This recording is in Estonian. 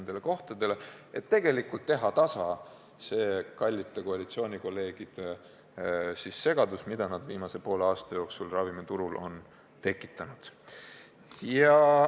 Seda selleks, et leevendada segadust, mis kallid koalitsiooni kolleegid viimase poole aasta jooksul ravimiturul on tekitanud.